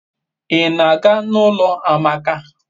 I na-aga n'ulo amaka